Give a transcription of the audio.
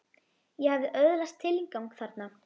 Ég hafði öðlast tilgang þarna.